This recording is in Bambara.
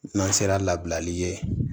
N'an sera labilali ye